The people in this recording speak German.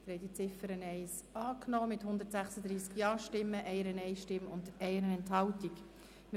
Sie haben diese Ziffer 1 mit 136 Ja-Stimmen, 1 Nein-Stimme und 1 Enthaltung angenommen.